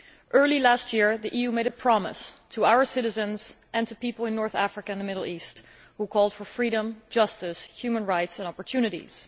Early last year the EU made a promise to our citizens and to people in North Africa and the Middle East who called for freedom, justice, human rights and opportunities.